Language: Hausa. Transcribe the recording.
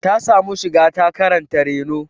Ta samu shiga ta karanta reno.